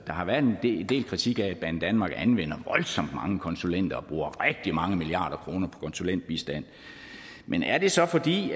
har været en del kritik af at banedanmark anvender voldsomt mange konsulenter og bruger rigtig mange milliarder kroner på konsulentbistand men er det så fordi